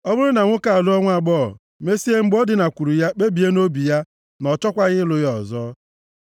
Ọ bụrụ na nwoke alụọ nwaagbọghọ, mesie mgbe o dinakwuru ya kpebie nʼobi ya na ọ chọkwaghị ịlụ ya ọzọ,